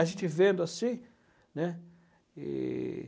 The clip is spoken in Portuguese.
A gente vendo assim, né? E...